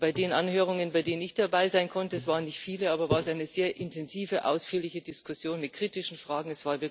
Bei den Anhörungen, bei denen ich dabei sein konnte es waren nicht viele gab es eine sehr intensive, ausführliche Diskussion mit kritischen Fragen.